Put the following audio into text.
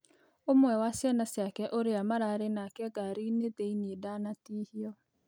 Ũmwe wa ciana cĩake ũria maraarĩ nake ngari thĩĩnĩ, ndanatĩhĩo